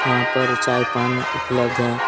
यहां पर चाय पानी उपलब्ध हैं।